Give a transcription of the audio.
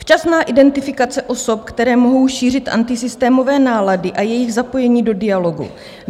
Včasná identifikace osob, které mohou šířit antisystémové nálady, a jejich zapojení do dialogu.